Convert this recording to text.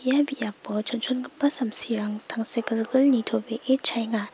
ia biapo chonchongipa samsirang tangsekgilgil nitobee chaenga.